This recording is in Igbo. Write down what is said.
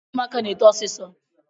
Ụmụaka na-eto ọsịsọ